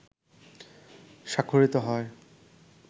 স্বাক্ষরিত হয়